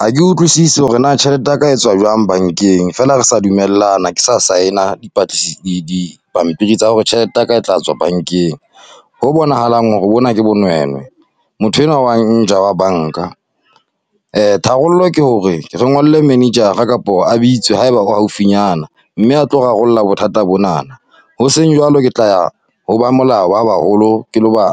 Ha ke utlwisisi hore na tjhelete ya ka etswa jwang bankeng, fela re sa dumellana ke sa sign-a, di dipampiri tsa hore tjhelete ya ka e tla tswa bankeng. Ho bonahalang hore bona ke bonwenwe, motho enwa wa nja wa banka. Tharollo ke hore re ngolle manager-a kapo a bitswe ha eba o haufinyana, mme a tlo rarolla bothata bonana. Ho seng jwalo ke tla ya ho ba molao ba baholo, ke lo ba